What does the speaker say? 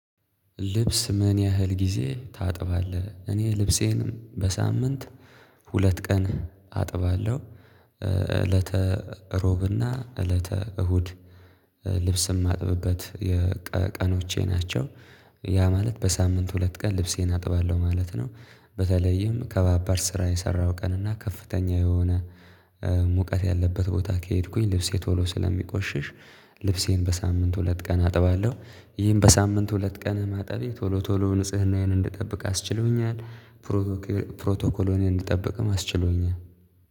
ልብስ ምን ያህል ጊዜ ታጥባለህ? እኔ ልብሴን በሳምንት ሁለት ቀን አጥባለሁ እለተ ሮብና እለተ እሁድ ልብስ ማጥብበት የ ቀኖቼ ናቸው ያ ማለት በሳምንት ሁለት ቀን ልብሴን አጥባለሁ ማለት ነው። በተለይም ከባባድ ስራ የሰራው ቀን እና ከፍተኛ የሆነ ሙቀት ያለበት ቦታ ከሄድኩኝ ልብሴ ቶሎ ስለሚቆሽሽ ልብሴን በሳምንት ሁለት ቀን አጥባለሁ። ይሄን በሳምንት ሁለት ቀን ማጣቤ ቶሎ ቶሎ ንጽህናዬን እንድጠብቅ አስችሎኛል ፕሬቶኮሌ ፕሮቶኮሎኔን እንድጠብቅም አስችሎኛል